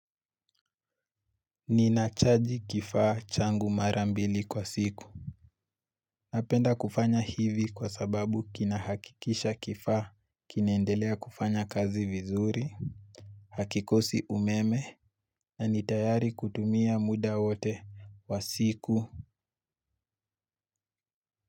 Ninachaji kifaa changu mara mbili kwa siku. Napenda kufanya hivi kwa sababu kinahakikisha kifaa kinaendelea kufanya kazi vizuri. Hakikosi umeme. Na nitayari kutumia muda wote wa siku.